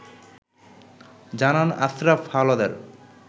জানান আশ্রাফ হাওলাদার